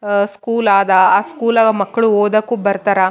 ಅ school ಆದ ಆ ಸ್ಕೂಲಾಗ ಮಕ್ಕಳು ಓದಾಗ ಬರ್ತಾರ.